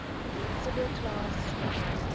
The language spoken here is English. civil class